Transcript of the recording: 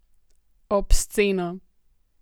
Obsceno!